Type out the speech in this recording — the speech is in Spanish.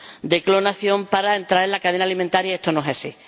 de clonación para entrar en la cadena alimentaria y esto no es así—.